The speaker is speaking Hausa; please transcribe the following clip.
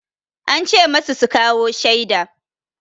An ce masu su kawo shaida.